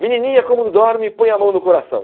Menininha como dorme, põe a mão no coração.